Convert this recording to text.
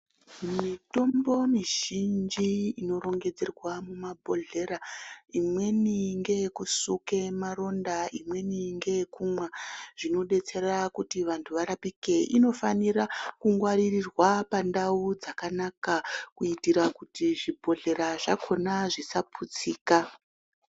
Mitombo mizhinji inorongedzerwa mumabhodhlera imweni ngeyekusuke maronda, imweni ngeyekumwa. Zvinodetsera kuti vantu varapike inofanira kungwaririrwa pandau dzakanaka kuitira kuti zvibhodhlera zvakona zvisaputsika.